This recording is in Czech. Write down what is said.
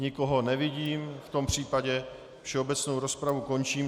Nikoho nevidím, v tom případě všeobecnou rozpravu končím.